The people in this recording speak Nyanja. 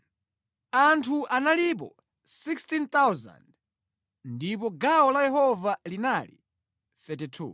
anthu analipo 16,000 ndipo gawo la Yehova linali 32.